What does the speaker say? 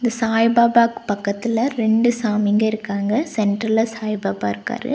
சாய்பாபாக்கு பக்கத்துல ரெண்டு சாமிங்க இருக்காங்க சென்ட்டர்ல சாய்பாபா இருக்காரு.